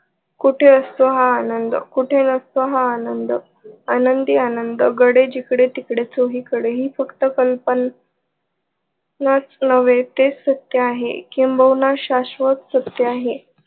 कुटे असतो हा आनंद? कुटे नसतो हा आनंद? आनंदी आनंद गडे जिकडे तिकडे चोही कडे ही फक्त कल्पन नाच नवे ते सत्य आहे. किंबहुना शास्वत सत्य आहे.